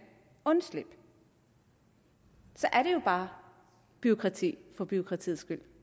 undslippe så er det jo bare bureaukrati for bureaukratiets skyld